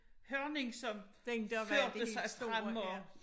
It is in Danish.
Hørning som førte sig frem og